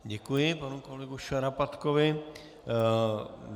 Děkuji panu kolegovi Šarapatkovi.